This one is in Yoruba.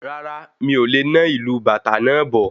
Rárá, mí o le na ìlu bàtá náà bọ̀